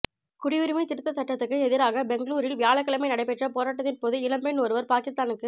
குடியுரிமை திருத்தச் சட்டத்துக்கு எதிராக பெங்களூரில் வியாழக்கிழமை நடைபெற்ற போராட்டத்தின்போது இளம்பெண் ஒருவா் பாகிஸ்தானுக்கு